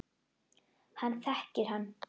Hann þekkir hann.